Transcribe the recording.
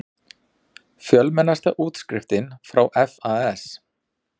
Fjölmennasta útskriftin frá FAS